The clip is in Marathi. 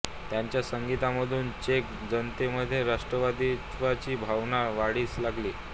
त्याच्या संगीतामधून चेक जनतेमध्ये राष्ट्रीयत्वाची भावना वाढीस लागली